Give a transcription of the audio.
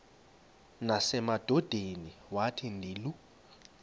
nasemadodeni wathi ndilu